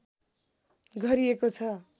गरिएको छ